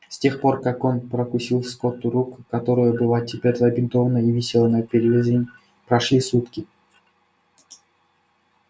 с тех пор как он прокусил скотту руку которая была теперь забинтована и висела на перевязи прошли сутки